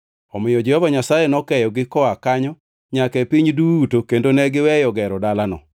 Omiyo Jehova Nyasaye nokeyogi koa kanyo nyaka e piny duto kendo ne giweyo gero dalano.